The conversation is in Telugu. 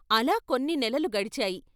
అలా కొన్ని నెలలు గడిచాయి.